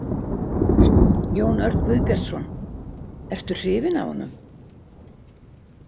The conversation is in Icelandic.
Jón Örn Guðbjartsson: Ertu hrifinn af honum?